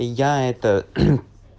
я это